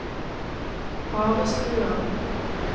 Harestua